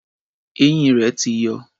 Eyín rẹ̀ ti yọ.